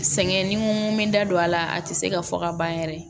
Sɛgɛn ni mun bɛ da don a la a tɛ se ka fɔ ka ban yɛrɛ